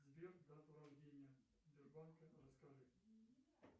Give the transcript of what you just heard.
сбер дату рождения сбербанка расскажи